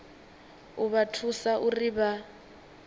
u vha thusa uri vha